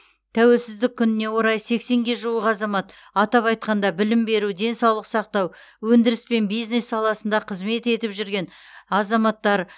тәуелсіздік күніне орай сексенге жуық азамат атап айтқанда білім беру денсаулық сақтау өндіріс пен бизнес саласында қызмет етіп жүрген азаматтар